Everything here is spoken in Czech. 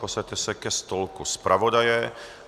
Posaďte se ke stolku zpravodaje.